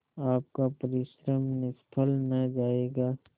आपका परिश्रम निष्फल न जायगा